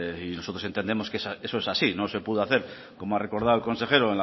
nosotros entendemos que eso es así no se pudo hacer como ha recordado el consejero